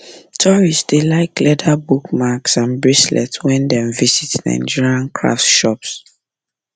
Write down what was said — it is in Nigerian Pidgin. tourists dey like leather bookmarks and bracelets when dem visit nigerian craft shops